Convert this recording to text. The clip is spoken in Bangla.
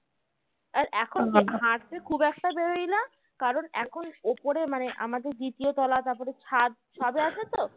হাঁটতে খুব একটা বেরোই না কারণ এখন উপরে মানে আমাদের দ্বিতীয় তলা তারপরে ছাদ ছাদ আছে তো আছে তো